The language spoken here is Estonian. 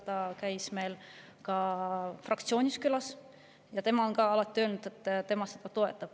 Ta käis meil fraktsioonis külas ja ta on alati öelnud, et tema seda toetab.